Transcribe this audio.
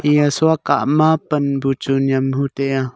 eya shua kah ma pan bu chu nyam hu tai a.